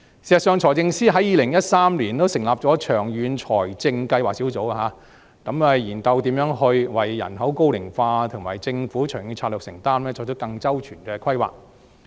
事實上，財政司司長在2013年成立長遠財政計劃工作小組，研究如何為人口高齡化及政府長遠的財政承擔，作出更周全的規劃。